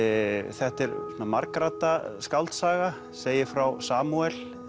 þetta er svona margradda skáldsaga segir frá Samúel